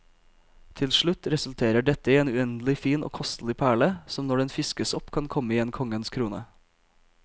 Til slutt resulterer dette i en uendelig fin og kostelig perle, som når den fiskes opp kan komme i en konges krone.